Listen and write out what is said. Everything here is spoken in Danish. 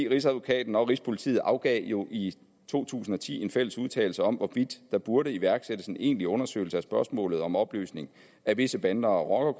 rigsadvokaten og rigspolitiet afgav i to tusind og ti en fælles udtalelse om hvorvidt der burde iværksættes en egentlig undersøgelse af spørgsmålet om opløsning af visse bander og